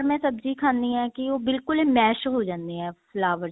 ਮੈਂ ਸਬਜੀ ਖਾਨੀ ਹਾਂ ਕੀ ਉਹ ਬਿਲਕੁਲ mash ਹੋ ਜਾਨੇ ਆ flower